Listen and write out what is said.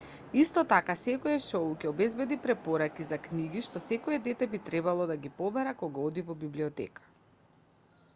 исто така секое шоу ќе обезбеди препораки за книги што секое дете би требало да ги побара кога оди во библиотека